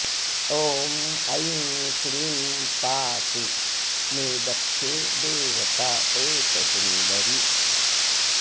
ॐ ऐं क्लीं पातु मे दक्षे देवता प्रेतसुन्दरी